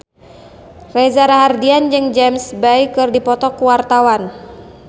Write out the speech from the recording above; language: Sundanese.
Reza Rahardian jeung James Bay keur dipoto ku wartawan